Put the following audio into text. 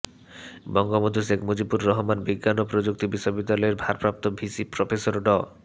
বঙ্গবন্ধু শেখ মুজিবুর রহমান বিজ্ঞান ও প্রযুক্তি বিশ্ববিদ্যালয়ের ভারপ্রাপ্ত ভিসি প্রফেসর ড